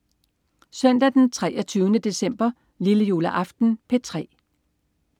Søndag den 23. december. Lillejuleaften - P3: